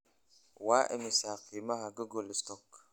waa imisa qiimaha google stock